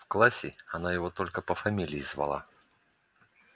в классе она его только по фамилии звала